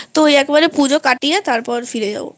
ওই একবারে পুজো কাটিয়ে ফেরত যাবো